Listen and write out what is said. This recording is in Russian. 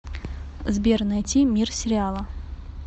сбер найти мир сериала